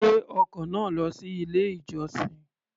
Gbé ọkọ̀ náà lọ sí ilé-ìjọsìn.